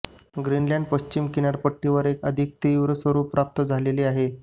Greenland पश्चिम किनारपट्टीवर एक अधिक तीव्र स्वरुप प्राप्त झालेले आहे